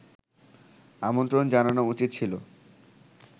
আমন্ত্রণ জানানো উচিত ছিল